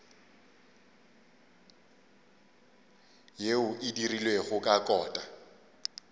yeo e dirilwego ka kota